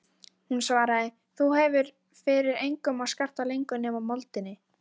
Hún svaraði: Þú hefur fyrir engum að skarta lengur nema moldinni.